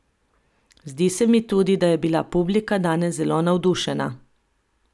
Zdi se mi tudi, da je bila publika danes zelo navdušena.